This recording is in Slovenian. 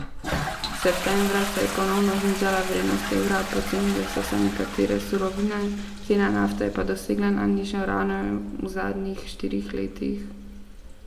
Septembra se je ponovno znižala vrednost evra, pocenile so se nekatere surovine, cena nafte pa je dosegla najnižjo raven v zadnjih štirih letih.